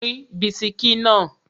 Pín bisikí náà!